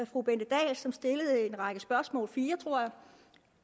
fru bente dahl som stillede en række spørgsmål fire tror jeg